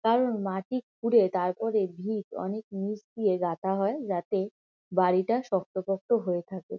কারণ মাটি খুঁড়ে তারপরে ভিত অনেক নীচ দিয়ে গাঁথা হয় যাতে বাড়িটা শক্ত পোক্ত হয়ে থাকে।